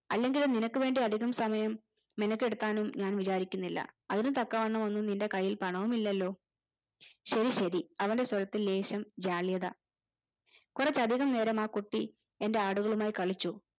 അല്ലെങ്കിലും നിനക്കു വേണ്ടി അധികം സമയം നിനക്കു എടുക്കാനൊന്നും ഞാൻ വിചാരിക്കുന്നില്ല അതിന് തക്കവണവൊന്നും നിന്റെ കയ്യിൽ പണമൊന്നുമില്ലലോ ശെരിശെരി അവന്റെ സ്വാരതിൽ ലേശം ജാള്യത കൊറച്ചധികം നേരം ആ കുട്ടി എൻ്റെ ആടുകളുമായി കളിച്ചു